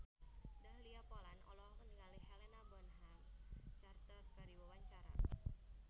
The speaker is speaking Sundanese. Dahlia Poland olohok ningali Helena Bonham Carter keur diwawancara